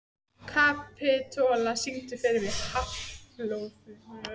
Kapitola, syngdu fyrir mig „Háflóð“.